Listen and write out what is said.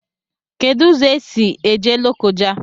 Kedu ụzọ esi eje Lokoja?